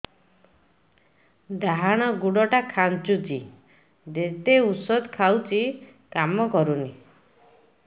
ଡାହାଣ ଗୁଡ଼ ଟା ଖାନ୍ଚୁଚି ଯେତେ ଉଷ୍ଧ ଖାଉଛି କାମ କରୁନି